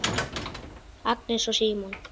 Agnes og Símon.